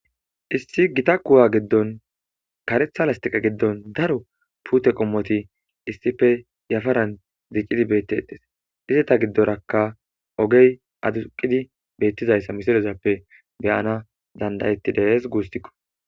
issi gita kuwa giddon karetha lastiqa giddon daro puute qommoti issife yafaran zicidi beettedes izeta giddorakka ogey aduqidi beettizayssa misorezappe beyana dandayettidees guusikko